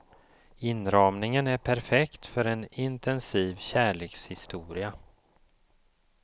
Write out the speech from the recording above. Inramningen är perfekt för en intensiv kärlekshistoria.